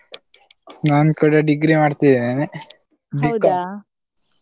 ನಾನು ಕೂಡ degree ಮಾಡ್ತಿದ್ದೇನೆ .